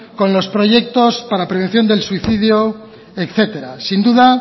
con los proyectos de la prevención del suicidio etcétera sin duda